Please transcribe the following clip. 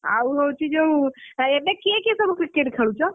ଆଉ ହଉଛି ଯୋଉ ଏବେ କିଏ କିଏ ସବୁ cricket ଖେଳୁଛ?